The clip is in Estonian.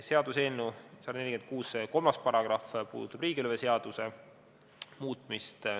Seaduseelnõu 146 § 3 puudutab riigilõivuseaduse muutmist.